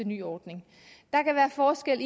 nye ordning der kan være forskel